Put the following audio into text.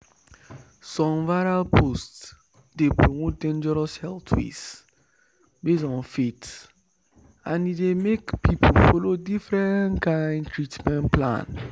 some viral posts dey promote dangerous health ways based on faith and e dey make people follow different kind treatment plan.”